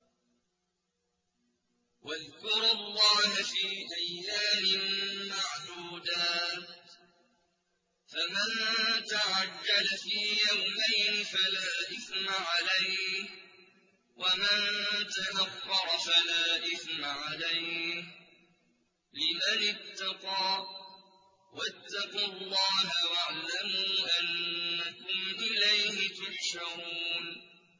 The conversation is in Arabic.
۞ وَاذْكُرُوا اللَّهَ فِي أَيَّامٍ مَّعْدُودَاتٍ ۚ فَمَن تَعَجَّلَ فِي يَوْمَيْنِ فَلَا إِثْمَ عَلَيْهِ وَمَن تَأَخَّرَ فَلَا إِثْمَ عَلَيْهِ ۚ لِمَنِ اتَّقَىٰ ۗ وَاتَّقُوا اللَّهَ وَاعْلَمُوا أَنَّكُمْ إِلَيْهِ تُحْشَرُونَ